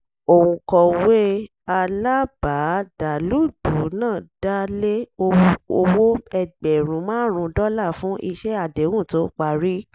òǹkọ̀wé alábàádàlúgbùú náà dá lé owó ẹgbẹ̀rún márùn-ún dọ́là fún iṣẹ́ àdéhùn tó parí